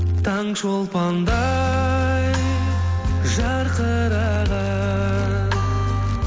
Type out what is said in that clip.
таңшолпандай жарқыраған